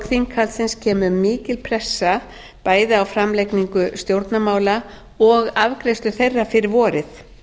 þinghaldsins kemur mikil pressa bæði á framlagningu stjórnarmála og afgreiðslu þeirra fyrir vorið